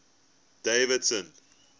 davidson